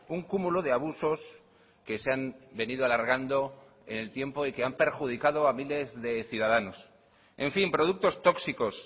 un cúmulo de abusos que se han venido alargando en el tiempo y que han perjudicado a miles de ciudadanos en fin productos tóxicos